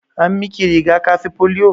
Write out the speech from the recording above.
An miki riga-kafi polio?